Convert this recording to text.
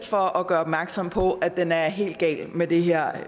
for at gøre opmærksom på at den er helt gal med det her